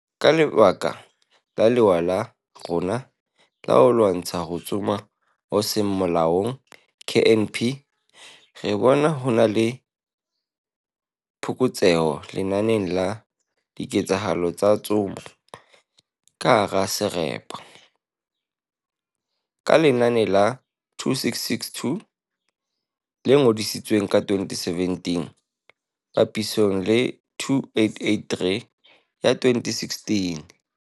"Ka lebaka la lewa la rona la ho lwantsha ho tsoma ho seng molaong KNP, re bona ho na le phokotseho lenaneng la diketsahalo tsa ho tsoma ka hara serapa, ka lenane la 2662 le ngodisitsweng ka 2017 papisong le 2883 ya 2016."